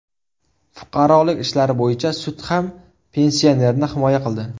Fuqarolik ishlari bo‘yicha sud ham pensionerni himoya qildi.